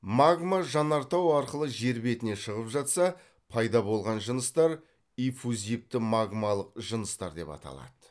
магма жанартау арқылы жер бетіне шығып қатса пайда болған жыныстар эффузивті магмалық жыныстар деп аталады